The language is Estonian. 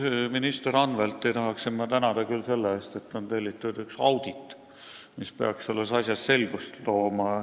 Minister Anveltit ma tahan küll tänada selle eest, et on tellitud audit, mis peaks selles asjas selgust tooma.